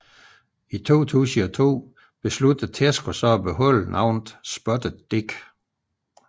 I 2002 besluttede Tesco så at beholde navnet Spotted Dick